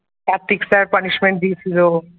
Kartik sirpunishment দিয়েছিল।